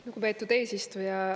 Lugupeetud eesistuja!